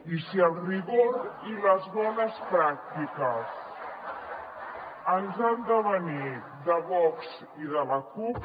i si el rigor i les bones pràctiques ens han de venir de vox i de la cup